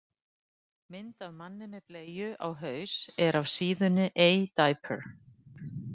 Mynd af manni með bleiu á haus er af síðunni A diaper.